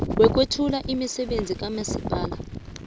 wokwethula imisebenzi kamasipala